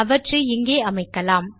அவற்றை இங்கே அமைக்கலாம்